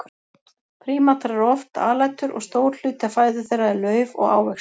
Prímatar eru oft alætur og stór hluti af fæðu þeirra er lauf og ávextir.